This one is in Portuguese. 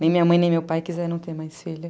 Nem minha mãe nem meu pai quiseram ter mais filho.